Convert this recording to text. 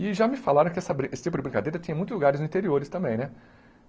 E já me falaram que essa brin esse tipo de brincadeira tinha em muitos lugares no interior também, né?